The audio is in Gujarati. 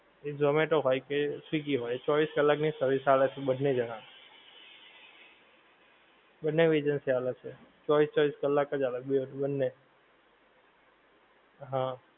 એ zomato હોએ કે swiggy હોએ ચૌવીશ કલ્લાક ની service આલે છે બંને જણા બંને ઓ agency આલે છે ચૌવીશ ચૌવીશ કલ્લાક અજ આલે છે બંને હા